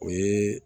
O ye